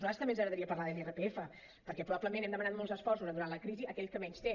a nosaltres també ens agradaria parlar de l’irpf perquè probablement hem demanat molts esforços durant la crisi a aquell qui menys té